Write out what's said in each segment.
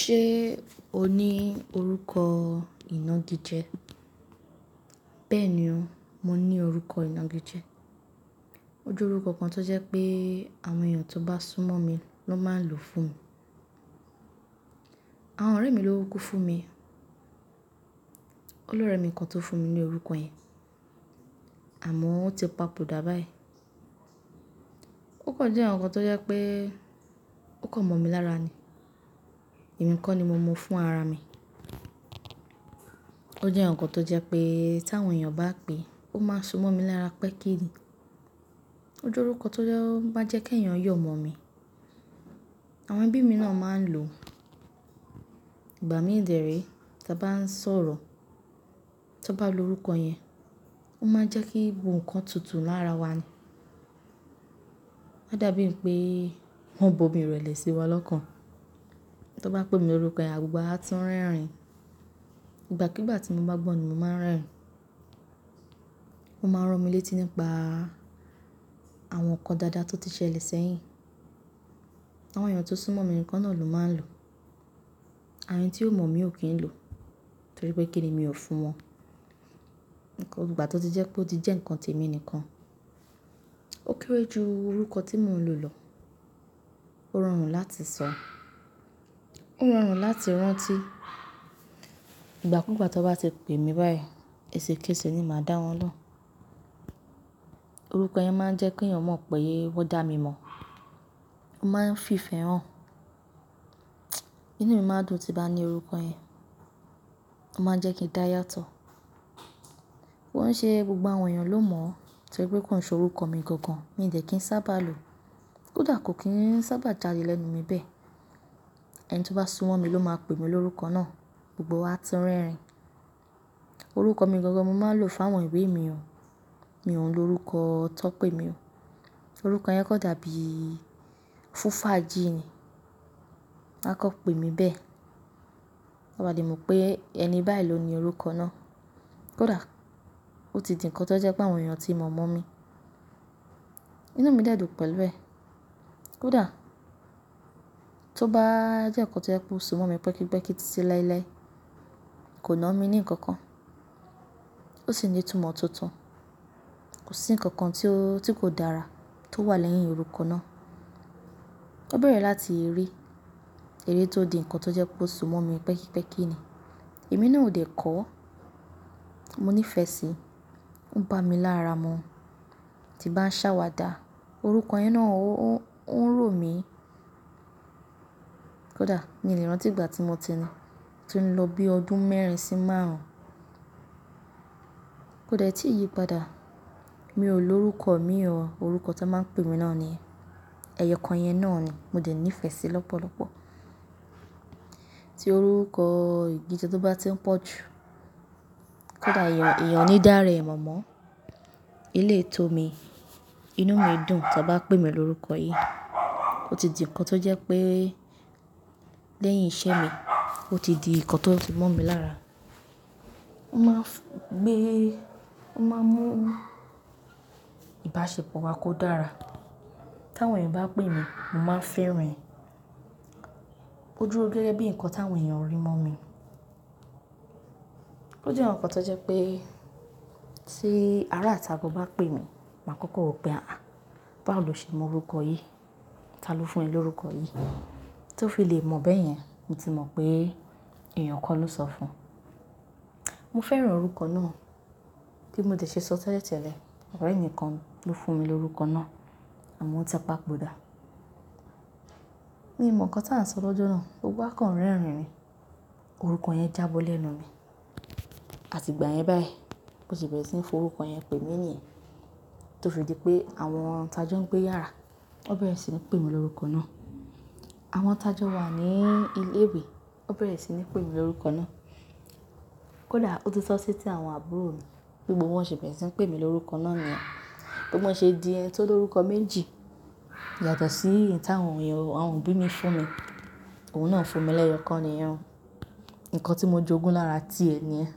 Ṣé o ní orúkọ ìnági jẹ? Bẹ́ẹ̀ni o, mo ní orúkọ ìnági jẹ. O jẹ́ orúkọ kan tó jẹ́ pé àwọn èèyàn tó bá súnmọ́ mi ló máa ń lò fún mi. Àwọn ọ̀rẹ́ mi ló wúkú fún mi. Olórẹ mi kan tó fún mi ní orúkọ yẹn àmọ́ ó ti papòdà báyìí. Ó kò jẹ́ ǹkan kan tó jẹ́ pé ó kàn mọ̀ mí lára ni. È mi kó ni mo mu fún ara mi. Ó jẹ́ ǹkan tó jẹ́ pé tà wọn èèyàn bá pè, ó máa ń so mọ́ mi lára pẹ́kí ni. Ó jẹ́ orúkọ tó máa ń jẹ́ ké ẹ̀yàn yọ̀ mọ̀ mí. Àwọn ẹbí mi náà máa ń lò. Ìgbà mìí dẹ̀ re ta bá ń sọ̀rọ̀, tó bá lo orúkọ yẹn, ó máa ń jẹ́ kí gbogbo nkan tutù lára wa ni. Ó dàbí pé wọ́n ń bo mi rẹ̀lẹ̀ sí wa lọ́kàn. To bá pè mi ló orúkọ yẹn, gbogbo wa á tún rẹ́rìn-ín. Ìgbà kúùgbà tí mo bá gbọ́ ni mo máa ń rẹ́rìn-ín. Ó máa ń ran mí létí nípa àwọn nǹkan dáadáa tó ti ṣẹlẹ̀ sẹ́yìn. Àwọn èèyàn tó súnmọ́ mi nìkan náà ló máa ń lò. Àwọn ẹni tí ó mọ̀ mí ò kí ń lò torí pé kíni mi ò fún wọn. Ǹkan gbo gbà tó ti jẹ́ pé ó ti jẹ́ nǹkan tèmi nìkan. Ó kéré ju orúkọ tí mò ń lò lọ. Ó rọrùn láti sọ, ó rọrùn láti rántí. Ìgbà kúùgbà tó bá ti pè mí báyìí, ẹsẹ̀kẹsẹ̀ ni màá dáwọn lóhùn. Orúkọ yẹn máa ń jẹ́ kí èèyàn mọ̀ pé wọ́n dà mí mọ̀. Wọ́n máa ń fi ìfẹ́ hàn. Inú mi máa dùn tí bá ní orúkọ yẹn. Ó máa ń jẹ́ kí n dá yàtọ̀. Wọ́n ṣe gbogbo àwọn èèyàn ló mọ̀ torí pé kò ń se orúkọ mi gangan, mi dẹ̀ kí ń sábà lò. Kódà kò kí ń sábà jáde lẹ́nu mi bẹ́ẹ̀. Ẹni tó bá súnmọ́ mi ló máa pè mí ní orúkọ náà, gbogbo wa á tún rẹ́rìn. Orúkọ mi gangan mo máa ń lò fún àwọn ìwé mi o. Mi ò ń lo orúkọ tó pè mí o. Orúkọ yẹn kò dàbí fún fàájì ni. Wọn á kọ́ pè mí bẹ́ẹ̀. Kò bá lè mọ̀ pé ẹni báyìí ló ní orúkọ náà. Kódà ó ti di ǹkan tó jẹ́ pé àwọn èèyàn tí mọ̀ mọ̀ mí, inú mi dẹ̀ dùn pẹ̀lú ẹ. Kódà tó bá jẹ́ nǹkan tó jẹ́ pé ó so mọ́ mi pẹ́kípẹ́kí títí láéláé, kò na mí ní nǹkan kan. Ó sì ní ìtumọ̀ tuntun. Kò sí nǹkan kan tí kò dára tó wà lẹ́yìn orúkọ náà. Ó bẹ̀rẹ̀ láti eré, eré tó di ǹkan tó jẹ́ pé ó so mọ́ mi pẹ́kípẹ́kí ni. Èmi náà ò dẹ̀ kọ́. Mo nífẹ̀ẹ́ síi. Ó ń bá mi lára mu. Tí bá ń ṣàwàdà, orúkọ yẹn náà ó ń rò mí. Kódà mi lè rántí ìgbà tí mo ti ni, tún lọ bí ọdún mẹ́rin sí márùn-ún. Kó dé tí yí padà mi ò lo orúkọ mi o, orúkọ tó máa ń pè mí náà ni, ẹyọ kan yẹn náà ni mo dẹ̀ nífẹ̀ẹ́ sí lọ́pọ̀lọ́pọ̀. Tí orúkọ ìnági jẹ tó bá ti ń pọ̀ jù, kódà èèyàn òní dá re mọ̀ mọ́n, eleyi tó mi, inú mi dùn tó bá pè mí ní orúkọ yìí. Ó ti di ǹkan tó jẹ́ pé lẹ́yìn isẹ́ mi, ó ti di ǹkan tó so mọ́ mi lára. Wọ́n máa ń gbé, wọ́n máa ń mú ìbáṣepọ̀ wa kó dára. Tá wọn èèyàn bá pè mí, mo máa ń fẹ́ rìn. Ó dúró gẹ́gẹ́ bí ǹkan tà wọn èèyàn rí mọ́ mi. Ó jẹ́ ǹkan kan tó jẹ́ pé tí ará tá gán bá pè mí, màá kọ́kọ́ wò pé, "àh! Báwo lọ ṣe mọ orúkọ yìí? Ta ló fún ẹ lorúkọ yìí?" Tí ó fi lè mọ̀ bẹ́ẹ̀ yẹn, mo ti mọ̀ pé èèyàn kan ló sọ fún un. Mo fẹ́ràn orúkọ náà. Kí mo dé ṣe sọ tẹ́lẹ̀tẹ́lẹ̀, ọ̀rẹ́ mi kan ló fún mi lorúkọ náà àmọ́ ó ti papòdà. Mi mọ̀ nǹkan tá ń sọ lọ́jọ́ náà, gbogbo wa kàn ń rẹ́rìn ni. Orúkọ yẹn já bọ́ lẹ́nu mi. Àti ìgbà yẹn báyìí, kò se bẹ̀rẹ̀ sí ní fi orúkọ yẹn pè mí ní yẹn tó fi di pé àwọn tajọ́ ń gbé yàrá, wọ́n bẹ̀rẹ̀ sí ní pè mí ní orúkọ náà. Àwọn tajọ́ wà ní ilé ìwé, wọ́n bẹ̀rẹ̀ sí ní pè mí ní orúkọ náà. Kódà ó tún sọ́ sí etí àwọn àbúrò mi, bí gbogbo wọn se bẹ̀rẹ̀ sí ń pè mí lorúkọ náà niyen. Tí mọ́ ṣe di ẹni tó lorúkọ méjì yàtọ̀ sí èyí tà wọn èèyàn, àwọn òbí mi fún mi. Òun náà fún mi lẹ́yọ̀ kan nìyẹn ó. Ǹkan tí mo jogún lára ti è ní yẹn.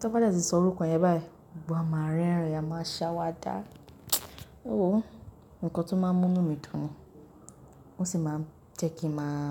Tó bá dé tí sọ orúkọ yẹn báyìí, gbogbo wa máa ń rẹ́rìn-ín, a máa ń ṣàwàdà. Ó wòó, ǹkan tó máa ń mú inú mi dùn ni. Ó sì máa ń jẹ́ kí n máa.